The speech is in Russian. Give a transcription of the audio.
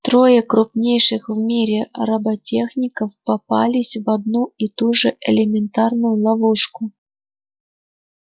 трое крупнейших в мире роботехников попались в одну и ту же элементарную ловушку